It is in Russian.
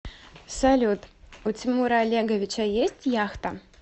салют у тимура олеговича есть яхта